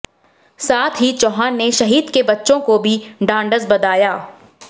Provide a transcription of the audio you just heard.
साथ ही चौहान ने शहीद के बच्चों को भी ढ़ाढ़स बधाया